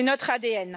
c'est notre ADN.